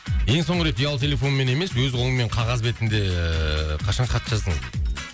ең соңғы рет ұялы телефонмен емес өз қолыңмен қағаз бетінде ыыы қашан хат жаздың